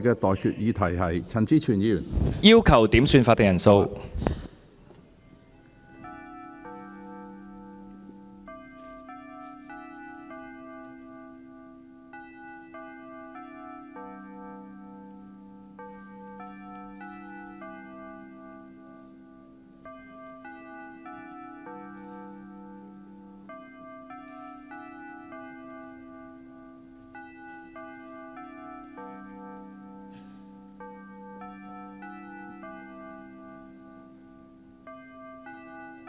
我要求點算法定人數。